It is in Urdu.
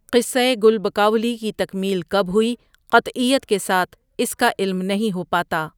قصہ گل بکاؤلی کی تکمیل کب ہوئی، قطعیت کے ساتھ اس کاعلم نہیں ہوپاتا ۔